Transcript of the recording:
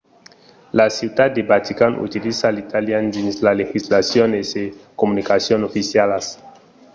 la ciutat de vatican utiliza l’italian dins sa legislacion e sas comunicacions oficialas